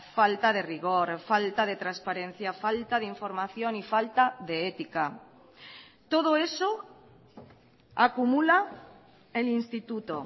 falta de rigor falta de transparencia falta de información y falta de ética todo eso acumula el instituto